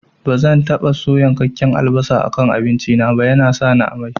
Bazan taɓa so yankakken albasa a kan abinci na ba, yana sani amai